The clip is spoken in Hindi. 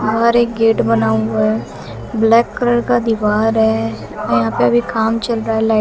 और एक गेट बना हुआ है ब्लैक कलर का दीवार है औ यहां पे अभी काम चल रहा है लाई--